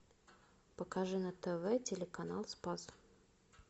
покажи на тв телеканал спас